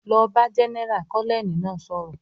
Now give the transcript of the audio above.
"Lọ bá Jẹ́nẹ́rà!", Kọ́nẹ́ẹ̀lì náà sọ̀rọ̀